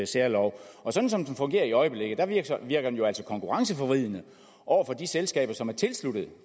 særlov og sådan som det fungerer i øjeblikket virker den jo altså konkurrenceforvridende over for de selskaber som er tilsluttet